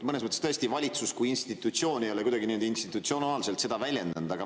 Mõnes mõttes tõesti, valitsus kui institutsioon ei ole kuidagi nii-öelda institutsionaalselt seda väljendanud.